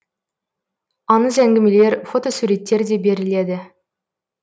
аңыз әңгімелер фотосуреттер де беріледі